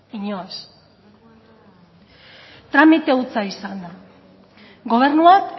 inoiz tramite hutsa izan da gobernuak